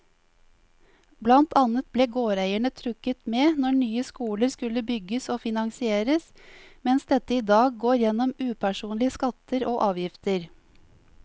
Blant annet ble gårdeierne trukket med når nye skoler skulle bygges og finansieres, mens dette i dag går gjennom upersonlige skatter og avgifter.